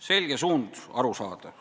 Selge suund, arusaadav.